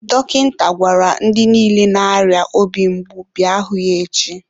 dọkịta gwara ndị niile na-arịa obi mgbu bịa hụ ya echi.